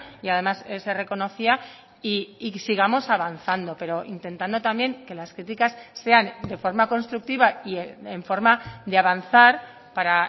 y además se reconocía y sigamos avanzando pero intentando también que las críticas sean de forma constructiva y en forma de avanzar para